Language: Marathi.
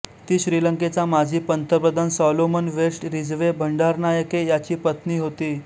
ती श्रीलंकेचा माजी पंतप्रधान सॉलोमन वेस्ट रिजवे भंडारनायके याची पत्नी होती